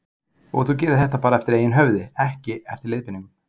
Birta: Og þú gerir þetta bara eftir eigin höfði, ekki eftir leiðbeiningum?